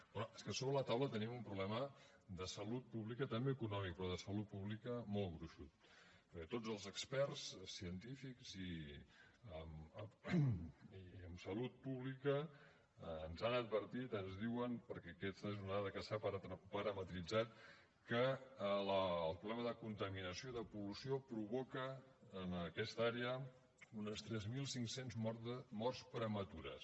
però és que sobre la taula tenim un problema de salut pública també econòmic però de salut pública molt gruixut perquè tots els experts científics i en salut pública ens han advertit ens diuen perquè aquesta és una dada que s’ha parametritzat que el problema de contaminació de pol·lució provoca en aquesta àrea unes tres mil cinc cents morts prematures